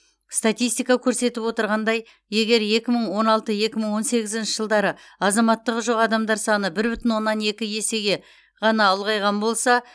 статистика көрсетіп отырғандай егер екі мың он алты екі мың он сегізінші жылдары азаматтығы жоқ адамдар саны бір бүтін оннан екі есеге ғана ұлғайған болса